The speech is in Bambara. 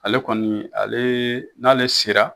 Ale kɔni, ale, n'ale sera